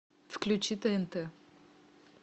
включи тнт